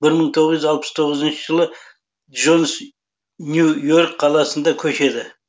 бір мың тоғыз жүз алпыс тоғызыншы жылы джонс нью йорк қаласына көшеді